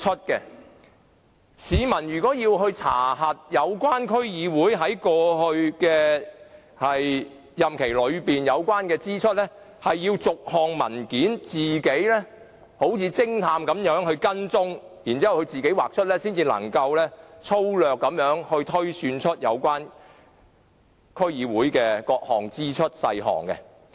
如果市民想查核有關區議會在過去任期內的有關支出，便要自行好像偵探般，把文件逐一追查，才能粗略推算出有關區議會的各項支出細項。